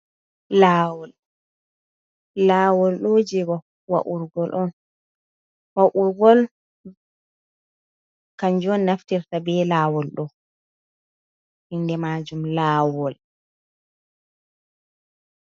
Lawol ɗo ji waurgol on waurgol kanjum naftirta be lawol do inde majum lawol.